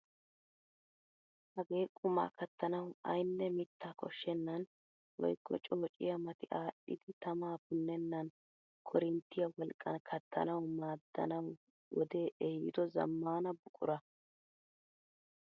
hagee qumaa kattanawu ayinne mittaa koshshenan woykko coosiyaa mati adhidi tama punnenan korinittiyaa wolqqan kattanawu maadanawu wodee ehiido zammaana buqura.